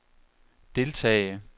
deltage